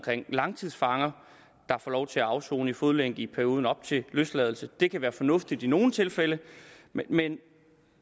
langtidsfanger der får lov til at afsone i fodlænke i perioden op til løsladelse det kan være fornuftigt i nogle tilfælde men